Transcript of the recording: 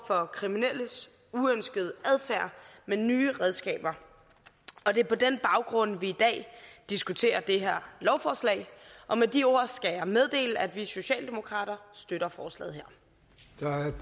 for kriminelles uønskede adfærd med nye redskaber det er på den baggrund at vi i dag diskuterer det her lovforslag med de ord skal jeg meddele at vi socialdemokrater støtter forslaget